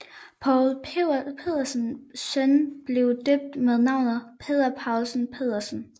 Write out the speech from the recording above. Poul Pedersens søn blev døbt med navnet Peder Poulsen Pedersen